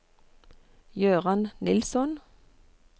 Gøran Nilsson